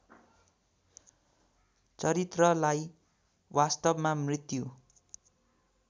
चरित्रलाई वास्तवमा मृत्यु